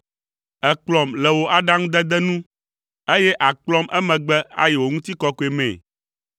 Èkplɔm le wò aɖaŋudede nu, eye àkplɔm emegbe ayi wò ŋutikɔkɔe mee.